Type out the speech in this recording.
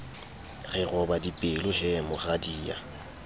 re roba dipelo he moradia